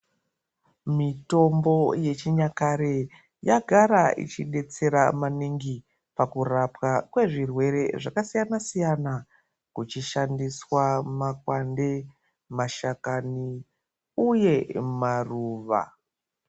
Mitombo yechinyakare yagara ichi betsera maningi pakurapwa kwezvirwere zvakasiyana siyana kuchishandiswa makwande, mashakani uye maruva.